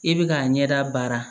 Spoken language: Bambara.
I bɛ k'a ɲɛda baara